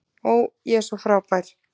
Ó, ég er svo frábær.